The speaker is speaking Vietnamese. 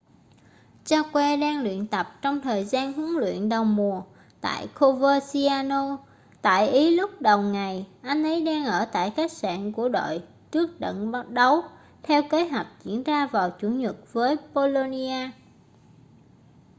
jarque đang tập luyện trong thời gian huấn luyện đầu mùa tại coverciano tại ý lúc đầu ngày anh ấy đang ở tại khách sạn của đội trước trận đấu theo kế hoạch diễn ra vào chủ nhật với bolonia